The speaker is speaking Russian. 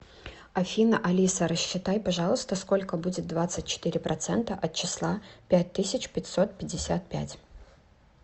афина алиса рассчитай пожалуйста сколько будет двадцать четыре процента от числа пять тысяч пятьсот пятьдесят пять